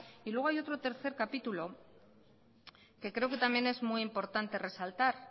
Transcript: luego hay otro tercer capítulo que creo que también es muy importante resaltar